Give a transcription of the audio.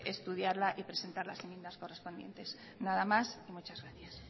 estudiarla y presentar las enmiendas correspondientes nada más y muchas gracias